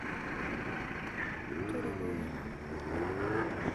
torikoki ang'